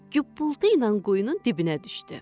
Göpultu ilə quyunun dibinə düşdü.